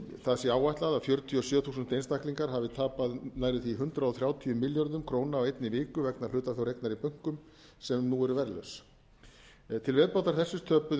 það sé áætlað að fjörutíu og sjö þúsund einstaklingar hafi tapað nærri því hundrað þrjátíu milljörðum króna á einni vikju vegna hlutafjáreignar í bönkum sem nú eru verðlaus til viðbótar þessu töpuðu um